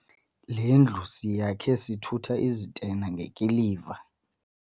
Le ndlu siyakhe sithutha izitena ngekiliva.